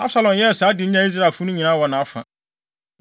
Absalom yɛɛ saa de nyaa Israelfo no nyinaa wɔ nʼafa.